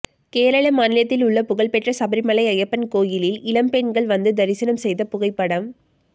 கேரள மாநிலத்தில் உள்ள புகழ்பெற்ற சபரிமலை ஐயப்பன் கோயிலில் இளம்பெண்கள் வந்து தரிசனம் செய்த புகைப்படம்